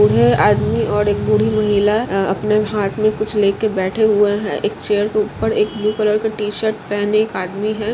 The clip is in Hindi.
एक आदमी और एक महिला बाहर बैठी हुई है|